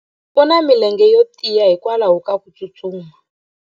U na milenge yo tiya hikwalaho ko tsustuma.